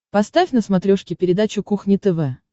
поставь на смотрешке передачу кухня тв